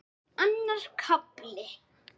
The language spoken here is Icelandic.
Annar kafli